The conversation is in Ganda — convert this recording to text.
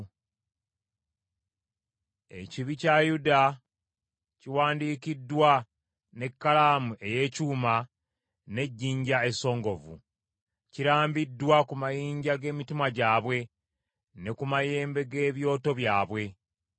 “Ekibi kya Yuda kiwandiikiddwa n’ekkalaamu ey’ekyuma n’ejjinja essongovu; kirambiddwa ku mitima gyabwe ne ku mayembe g’ebyoto byabwe.